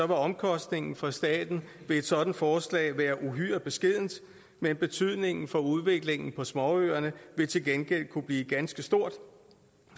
omkostningen for staten ved et sådant forslag være uhyre beskeden men betydningen for udviklingen på småøerne vil til gengæld kunne blive ganske stor